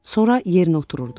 Sonra yerinə otururdu.